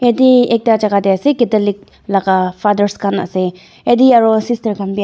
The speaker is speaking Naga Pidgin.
ete ekta jaka tae ase catholic laga fathers khan ase ete aru sister khan.